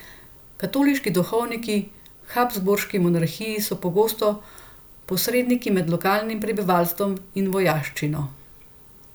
Katoliški duhovniki v habsburški monarhiji so bili pogosto posredniki med lokalnim prebivalstvom in vojaščino.